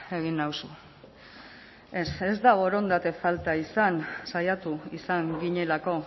egin nauzu ez ez da borondate falta izan saiatu izan ginelako